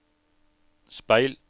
speil